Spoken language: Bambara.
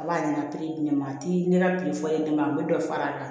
A b'a ɲɛna di ne ma a ti ne ka foyi di ne ma a bɛ dɔ fara a kan